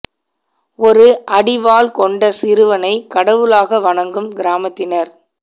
ஒரு அடி வால் கொண்ட சிறுவனை கடவுளாக வணங்கும் கிராமத்தினர்